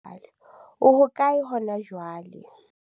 o hokae hona jwale?